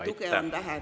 … tuge on vähe.